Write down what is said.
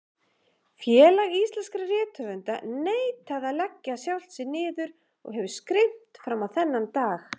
Félag íslenskra rithöfunda neitaði að leggja sjálft sig niður og hefur skrimt frammá þennan dag.